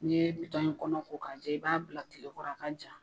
Ni ye in kɔnɔ ko k'a jɛ i b'a bila kilekɔrɔ a ka ja